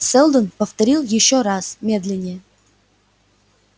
сэлдон повторил ещё раз медленнее